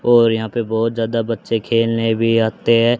और यहां पे बहुत ज्यादा बच्चे खेलने भी आते हैं।